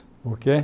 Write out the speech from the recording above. O quê?